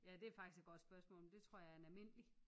Ja det er faktisk et godt spørgsmål men det tror jeg er en almindelig